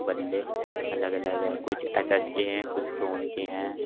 बल्ले अलग अलग हैं कुछ एस_एस के हैं कुछ टोन के हैं।